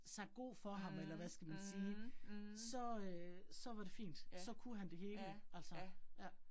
Sagt god for ham eller hvad skal man sige, så øh så var det fint, så kunne han det hele, altså ja